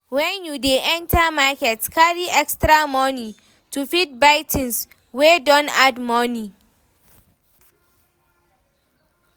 When you dey enter market, carry extra money to fit buy things wey don add money